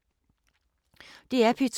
DR P2